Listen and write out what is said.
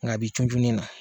Nka a bɛ junjun min na.